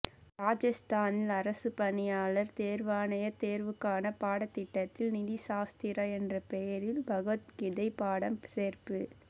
ராஜஸ்தானில் அரசுப் பணியாளர் தேர்வாணயத் தேர்வுக்கான பாடத்திட்டத்தில் நீதிசாஸ்திரா என்ற பெயரில் பகவத்கீதை பாடம் சேர்ப்பு